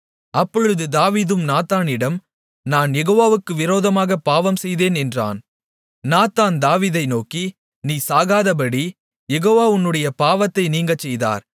அப்பொழுது தாவீது நாத்தானிடம் நான் யெகோவாவுக்கு விரோதமாகப் பாவம் செய்தேன் என்றான் நாத்தான் தாவீதை நோக்கி நீ சாகாதபடி யெகோவா உன்னுடைய பாவத்தை நீங்கச்செய்தார்